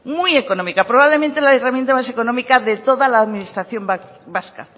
muy económica probablemente la herramienta más económica de toda la administración vasca